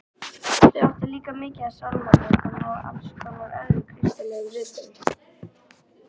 Þau áttu líka mikið af sálmabókum og alls konar öðrum kristilegum ritum.